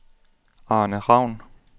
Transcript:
Arne Ravn